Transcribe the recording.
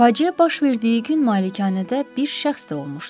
Faciə baş verdiyi gün malikanədə bir şəxs də olmuşdu.